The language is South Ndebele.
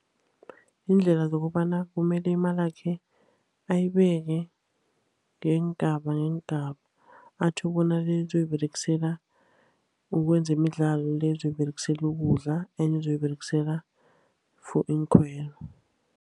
Ziindlela zokobana kumele imalakhe ayibeke ngeengaba ngeengaba, atjho bona le uzoyiberegisela kwezemidlalo, le uzoyiberegisela ukudla, enye uzoyiberegisela for iinkhwelo.